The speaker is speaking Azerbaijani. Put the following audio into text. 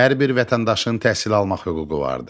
Hər bir vətəndaşın təhsil almaq hüququ vardır.